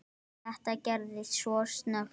Þetta gerðist svo snöggt.